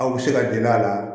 Aw bɛ se ka deli a la